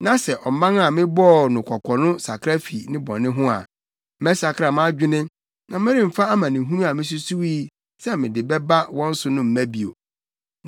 na sɛ ɔman a mebɔɔ no kɔkɔ no sakra fi ne bɔne ho a, mɛsakra mʼadwene na meremfa amanehunu a misusuwii sɛ mede bɛba wɔn so mma bio.